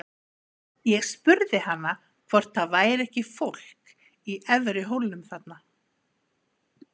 Ég spurði hana hvort það væri ekki fólk í efri hólnum þarna.